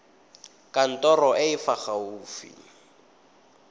kantorong e e fa gaufi